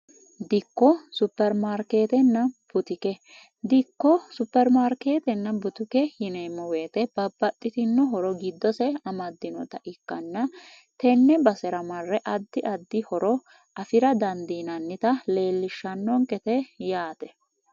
dikko supermaarkeetenna butike dikko supermaarkeetenna butuke hineemmo weete babbaxxitino horo giddose amaddinota ikkanna tenne basera marre addi addi horo afira dandiinannita leellishshannoonqete yaate